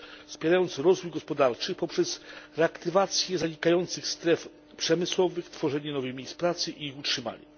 wspierając rozwój gospodarczy poprzez reaktywację zanikających stref przemysłowych, tworzenie nowych miejsc pracy i ich utrzymanie.